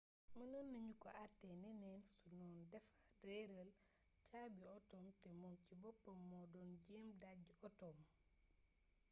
mënoon nañu ko àttee neneen su doon dafa réeral caabi otoom te moom ci boppam moo doon jéem dàjji otoom